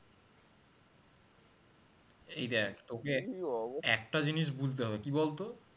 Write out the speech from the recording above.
এই দ্যাখ তোকে একটা জিনিস বুঝতে হবে কি বলতো?